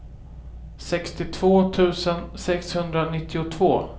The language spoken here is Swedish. sextiotvå tusen sexhundranittiotvå